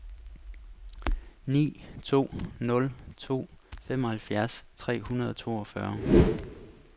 ni to nul to femoghalvfjerds tre hundrede og toogfyrre